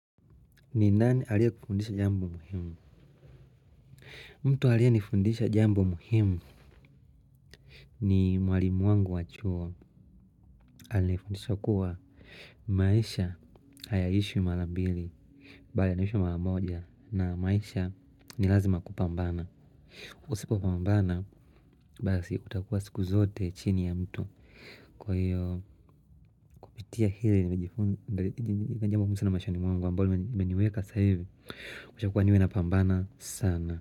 Ni nani aliye kufundisha jambo muhimu? Mtu aliye nifundisha jambo muhimu ni mwalimu wangu wa chuo. Alifunidisha kuwa maisha hayaishwi mara mbili. Mbali yanaisha maramoja na maisha ni lazima kupambana. Usipo pambana basi utakuwa siku zote chini ya mtu. Kwa hiyo kupitia hili nimejifundi jambo la maana sana maishani mwangu ambalo limeniweka sa hivi. Ushakuwa niwe napambana sana.